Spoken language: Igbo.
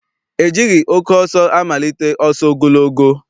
E jighị oke ọsọ amalite ọsọ ogologo.